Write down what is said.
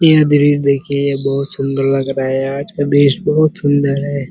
यह दृश्य देखिए बहोत सुंदर लग रहा है। आज का दृश्य बहोत सुंदर है।